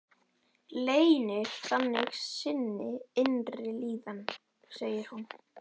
Leynir þannig sinni innri líðan, segir hún.